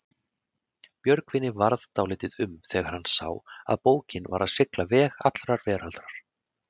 Björgvini varð dálítið um þegar hann sá að bókin var að sigla veg allrar veraldar.